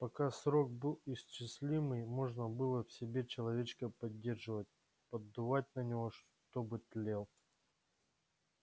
пока срок был исчислимый можно было в себе человечка поддерживать поддувать на него чтобы тлел